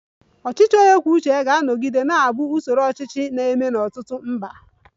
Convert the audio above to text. Ọchịchị onye kwuo uche ya ga-anọgide na-abụ usoro ọchịchị na-eme n'ọtụtụ mba